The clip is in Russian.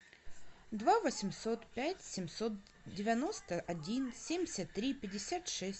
два восемьсот пять семьсот девяносто один семьдесят три пятьдесят шесть